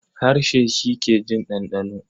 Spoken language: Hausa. Harshe shi ke jin ɗanɗano.